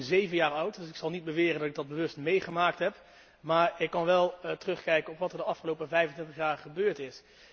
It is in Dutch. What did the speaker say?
Ik was toen zeven jaar oud. Dus ik zal niet beweren dat ik dat bewust heb meegemaakt, maar ik kan wel terugkijken op wat er de afgelopen 25 jaar gebeurd is.